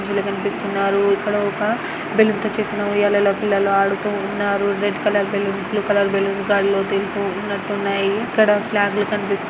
ఇక్కడ ఒక బలూన్ తో చేసిన ఉయ్యాలలో పిల్లలు ఆడుతూ ఉన్నారు. Red colour balloon blue colour balloon గాలిలో తెలితు ఉన్నటు ఉన్నాయి. ఇక్కడ ఫ్లగ్ లు కనిపిస్తున్నాయి.